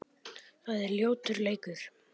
Það er ljótur leikur.